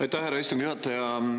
Aitäh, härra istungi juhataja!